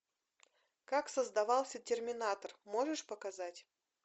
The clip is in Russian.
как создавался терминатор можешь показать